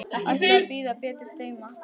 Ætla að bíða betri tíma.